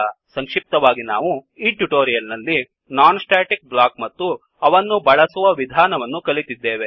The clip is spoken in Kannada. ಸಂಕ್ಷಿಪ್ತವಾಗಿ ನಾವು ಈ ಟ್ಯುಟೋರಿಯಲ್ ನಲ್ಲಿ ನಾನ್ ಸ್ಟ್ಯಾಟಿಕ್ ಬ್ಲಾಕ್ ಮತ್ತು ಅವನ್ನು ಬಳಸುವ ವಿಧಾನವನ್ನು ಕಲಿತಿದ್ದೇವೆ